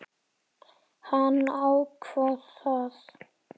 Hann ákvað það.